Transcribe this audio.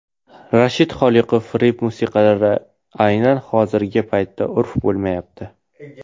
Rashid Xoliqov: Rep musiqalari aynan hozirgi paytda urf bo‘lmayapti.